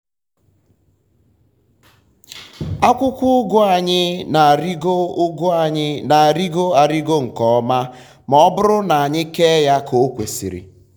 akwụkwọ ụgụ anyị na-arịgo ụgụ anyị na-arịgo arịgo nke ọma ma ọ bụrụ na anyị kee ha ka o kwesịrị.